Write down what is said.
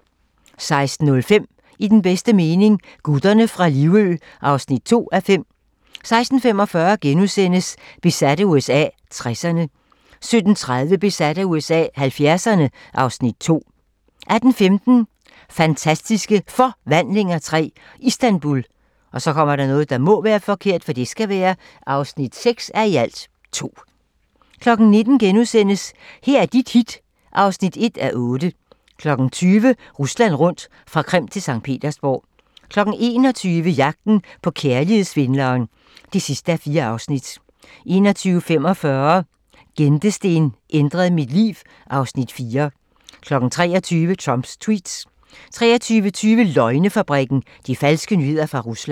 16:05: I den bedste mening - gutterne fra Livø (2:5) 16:45: Besat af USA - 60'erne * 17:30: Besat af USA - 70'erne (Afs. 2) 18:15: Fantastiske Forvandlinger III - Istanbul (6:2) 19:00: Her er dit hit (1:8)* 20:00: Rusland rundt - fra Krim til Skt. Petersborg 21:00: Jagten på kærlighedssvindleren (4:4) 21:45: Gentesten ændrede mit liv (Afs. 4) 23:00: Trumps tweets 23:20: Løgnefabrikken - de falske nyheder fra Rusland